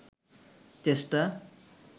চেষ্টা